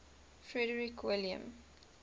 frederick william